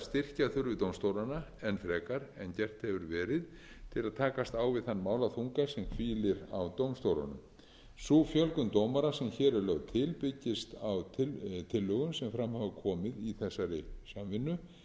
styrkja þurfi dómstólana enn frekar en gert hefur verið til að takast á við þann málaþunga sem hvílir á dómstólunum sú fjölgun dómara sem hér er lögð til byggist á tillögum sem fram hafa komið í þessari samvinnu